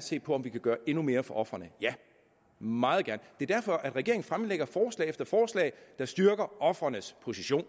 se på om vi kan gøre endnu mere for ofrene ja meget gerne det er derfor regeringen fremsætter forslag efter forslag der styrker ofrenes position